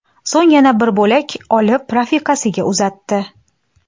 So‘ng yana bir bo‘lak olib, rafiqasiga uzatdi.